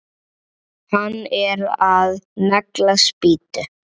Hann er að negla spýtu.